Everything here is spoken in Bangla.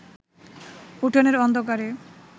উঠোনের অন্ধকারে